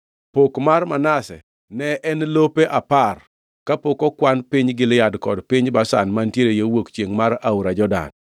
Pok mar Manase ne en lope apar kapok okwan piny Gilead kod piny Bashan mantiere yo wuok chiengʼ mar aora Jordan,